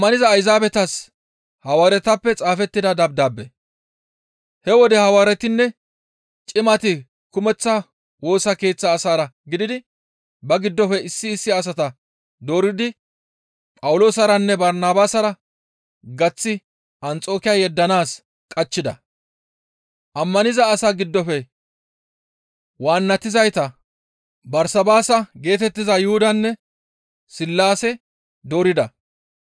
He wode Hawaaretinne cimati kumeththa Woosa Keeththa asaara gididi ba giddofe issi issi asata dooridi Phawuloosaranne Barnabaasara gaththi Anxokiya yeddanaas qachchida. Ammaniza asaa giddofe waannatizayta Barsabaasa geetettiza Yuhudanne Sillaase doorida.